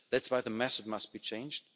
That's why the methods must be changed.